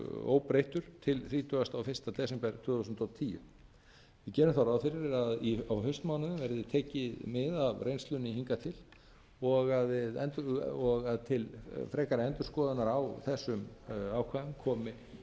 óbreyttur til þrítugasta og fyrsta desember tvö þúsund og tíu við gerum þá ráð fyrir að á haustmánuðum verði tekið mið af reynslunni hingað til og að til frekari endurskoðunar á þessum ákvæðum komi